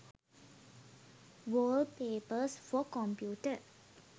wallpapers for computer